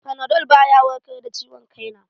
Fanadol baya warkar da ciwon kai na